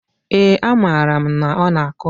ee, amaara m na ọ na-akụ.